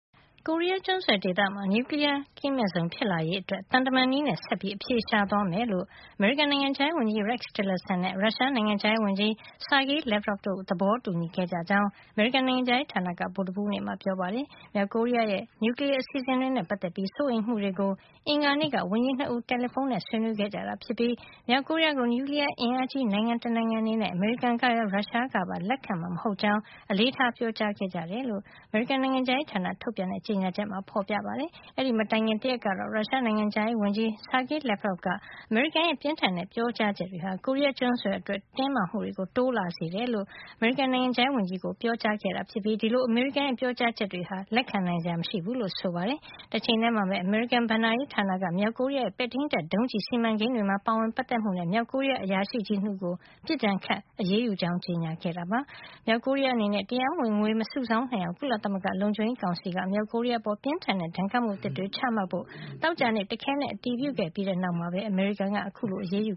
ကိုရီးယားကျွန်းဆွယ်ဒေသမှာ နျူကလီယား မဲ့ဇုံ ဖြစ်လာစေရေးအတွက် သံတမန်နည်းနဲ့ ဆက်ပြီး အဖြေရှာသွားမယ်လို့ အမေရိကန် နိုင်ငံခြားရေး ဝန်ကြီး Rex Tillerson နဲ့ ရုရှား နိုင်ငံခြားရေးဝန်ကြီး Sergei Lavrov တို့ သဘောတူညီခဲ့ကြတယ်လို့ အမေရိကန် နိုင်ငံခြားရေး ဌာနက ဗုူဒ္ဓဟူးနေ့မှာ ပြောပါတယ်။ မြောက်ကိုရီးယား ရဲ့ နျူကလီယား အစီစဉ်တွေ နဲ့ ပတ်သက်ပြီး စိုးရိမ်မှုတွေကို အင်္ဂါနေ့က ဝန်ကြီး ၂ ဦး တယ်လီဖုံးနဲ့ ဆွေးနွေးခဲ့ကြပြီး မြောက်ကိုရီးယား ကို နျူကလီယားအင်အားကြီး နိုင်ငံ တနိုင်ငံအနေနဲ့ အမေရိကန်ကရော ရုရှားကပါ လက်ခံမှာ မဟုတ်ကြောင်း အလေးထား ပြောကြားခဲ့ကြတယ်လို့ အမေရိကန် နိုင်ငံခြားရေး ဌာနက ထုတ်ပြန်တဲ့ ကြေညာချက်မှာ ဖေါ်ပြထားပါတယ်။ အဲဒီမတိုင်ခင် တရက်ကတော့ ရုရှား နိုင်ငံခြားရေးဝန်ကြီး Sergei Lavrov က အမေရိကန်ရဲ့ ပြင်းထန်တဲ့ ပြောကြားချက်တွေဟာ ကိုရီးယား ကျွန်းဆွယ် အတွက် တင်းမာမှုတွေ တိုးလာစေတယ်လို့ အမေရိကန် နိုင်ငံခြားရေး ဝန်ကြီး ကို ပြောကြားခဲ့တာ ဖြစ်ပြီး ဒီလို အမေရိကန်ရဲ ပြောကြားချက်တွေဟာ လက်ခံနိုင်စရာ မရှိဘူးလို့ ဆိုပါတယ်။ တချိန်ထဲမှာပဲ အမေရိကန် ဘဏ္ဍာရေး ဌာနက မြောက်ကိုရီးယား ရဲ့ ပဲ့ထိမ်းတပ် ဒုံးကျည် စီမံကိန်းတွေမှာ ပါဝင်ပတ်သက်မှုနဲ့ မြောက်ကိုရီးယား အရာရှိကြီး ၂ ဦးကို ပစ်ဒဏ်ခတ် အရေးယူကြောင်း ကြေညာခဲ့ပါတယ်။ မြောက်ကိုရီးယား အနေနဲ့ တရားမဝင် ငွေမစုဆောင်း နိုင်အောင် ကုလသမဂ္ဂ လုံခြုံရေးကောင်စီက မြောက်ကိုရီးယား အပေါ် ပြင်းထန်တဲ့ ဒဏ်ခတ်မှု အသစ်တွေ ချမှတ်ဖို့ သောကြာနေ့မှာ တခဲနက် အတည်ပြုခဲ့ပြီးတဲ့နောက် အမေရိကန်က အခုလို အရေးယူ